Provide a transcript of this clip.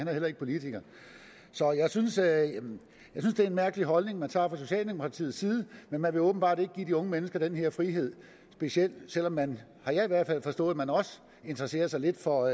er heller ikke politiker så jeg synes det er en mærkelig holdning man indtager fra socialdemokratiets side men man vil åbenbart ikke give de unge mennesker den her frihed selv om man har jeg i hvert fald forstået også interesserer sig lidt for